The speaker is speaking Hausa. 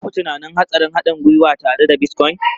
Ba ku tunanin hatsarin haɗin gwiwa tare da Bitcoin?